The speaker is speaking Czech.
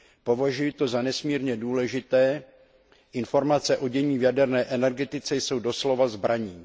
Považuji to za nesmírně důležité, protože informace o dění v jaderné energetice jsou doslova zbraní.